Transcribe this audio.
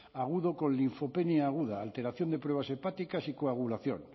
agudo con linfopenia aguda alteración de pruebas hepáticas y coagulación